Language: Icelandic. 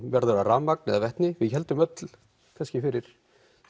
verður það rafmagn eða vetni við héldum öll kannski fyrir